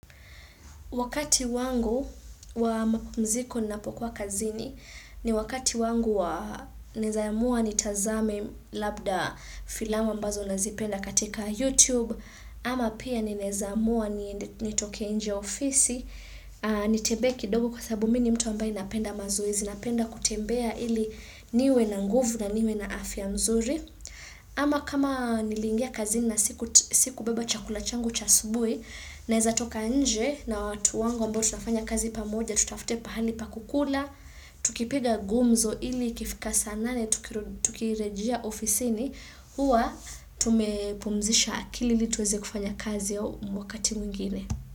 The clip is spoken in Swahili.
Wakati wangu wa mapumziko ninapokuwa kazini ni wakati wangu wa naweza amua nitazame labda filamu ambazo nazipenda katika YouTube ama pia ninaweza amua nitoke nje ofisi nitembee kidogo kwa sababu mimi ni mtu ambaye napenda mazoezi napenda kutembea ili niwe na nguvu na niwe na afya nzuri ama kama niliingia kazini na sikubeba chakula changu cha asubuhi naweza toka nje na watu wangu ambao tunafanya kazi pamoja tutafute pahali pa kukula tukipiga gumzo ili ikifika saa nane tukirejea ofisini huwa tumepumzisha akili ili tuweze kufanya kazi wakati mwingine.